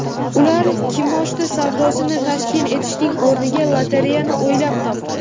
Ular kimoshdi savdosini tashkil etishning o‘rniga lotereyani o‘ylab topdi.